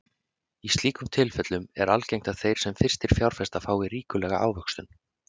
Í slíkum tilfellum er algengt að þeir sem fyrstir fjárfesta fái ríkulega ávöxtun.